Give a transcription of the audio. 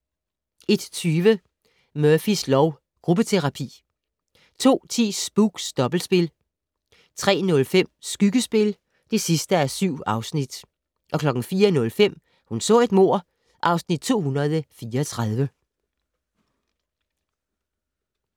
01:20: Murphys lov: Gruppeterapi 02:10: Spooks: Dobbeltspil 03:05: Skyggespil (7:7) 04:05: Hun så et mord (Afs. 234)